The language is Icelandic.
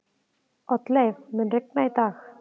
Oddleif, mun rigna í dag?